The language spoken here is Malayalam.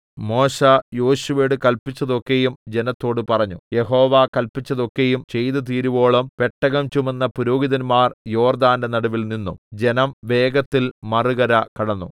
മോശെ യോശുവയോട് കല്പിച്ചത് ഒക്കെയും ജനത്തോട് പറഞ്ഞു യഹോവ കല്പിച്ചതൊക്കെയും ചെയ്തുതീരുവോളം പെട്ടകം ചുമന്ന പുരോഹിതന്മാർ യോർദ്ദാന്റെ നടുവിൽനിന്നു ജനം വേഗത്തിൽ മറുകര കടന്നു